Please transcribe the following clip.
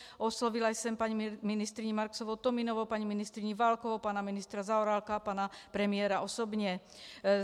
Oslovila jsem paní ministryni Marksovou-Tominovou, paní ministryni Válkovou, pana ministra Zaorálka a pana premiéra osobně.